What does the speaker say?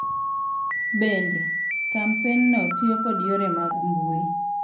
Bende, kampenno tiyo kod yore mag mbui .